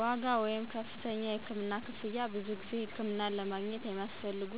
ዋጋ (ከፍተኛ የህክምና ክፍያ) ብዙ ጊዜ ሕክምናን ለማግኘት የሚያስፈልጉ